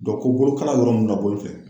ko bolokala yɔrɔ nunnu naboli fɛ